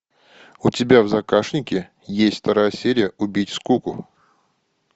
у тебя в загашнике есть вторая серия убить скуку